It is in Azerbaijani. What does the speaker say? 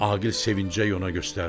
Aqil sevinclə ona göstərdi.